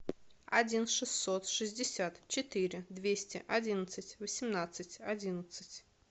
один шестьсот шестьдесят четыре двести одиннадцать восемнадцать одиннадцать